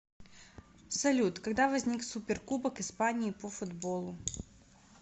салют когда возник суперкубок испании по футболу